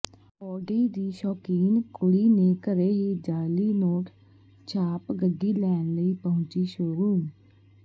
Audi ਦੀ ਸ਼ੌਕੀਨ ਕੁੜੀ ਨੇ ਘਰੇ ਹੀ ਜਾਅਲੀ ਨੋਟ ਛਾਪ ਗੱਡੀ ਲੈਣ ਲਈ ਪਹੁੰਚੀ ਸ਼ੋਅਰੂਮ